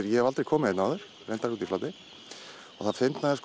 ég hef aldrei komið hérna áður út í Flatey og það fyndna er